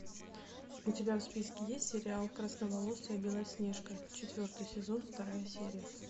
у тебя в списке есть сериал красноволосая белоснежка четвертый сезон вторая серия